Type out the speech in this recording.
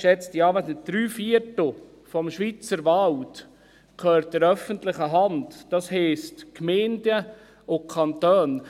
Geschätzte Anwesende, drei Viertel des Schweizer Walds gehören der öffentlichen Hand, das heisst Gemeinden und Kantonen.